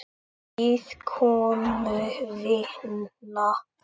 Ég bíð komu þinnar.